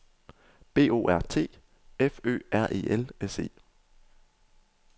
B O R T F Ø R E L S E